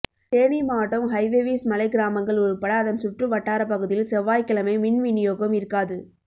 தேனி மாவட்டம் ஹைவேவிஸ் மலைக் கிராமங்கள் உள்பட அதன் சுற்று வட்டாரப்பகுதியில் செவ்வாய்கிழமை மின்விநியோகம் இருக்காது